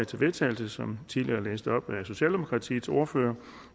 til vedtagelse som tidligere blev læst op af socialdemokratiets ordfører